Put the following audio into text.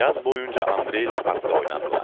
Yaz boyunca Andrey ilə parkda oynadılar.